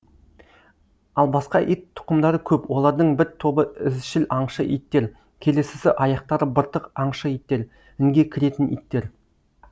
ал басқа ит тұқымдары көп олардың бір тобы ізшіл аңшы иттер келесісі аяқтары быртық аңшы иттер інге кіретін иттер